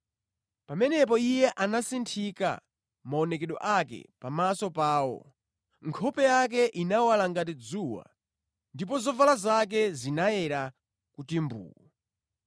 Pamenepo Iye anasinthika maonekedwe ake pamaso pawo. Nkhope yake inawala ngati dzuwa ndipo zovala zake zinayera kuti mbuu.